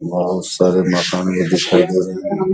बोहुत सारे मकान के --